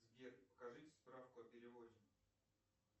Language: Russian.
сбер покажите справку о переводе